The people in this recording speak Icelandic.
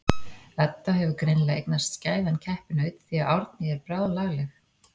Edda hefur greinilega eignast skæðan keppinaut því að Árný er bráðlagleg.